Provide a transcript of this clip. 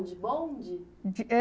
De bonde? De, é